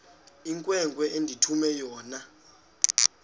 inkwenkwe endithume yona